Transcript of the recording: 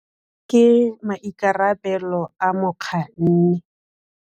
Ke maikarabelo a mokganni.